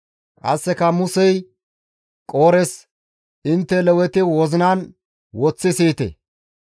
Qasseka Musey Qoores, «Intte Leweti wozinan woththi siyite!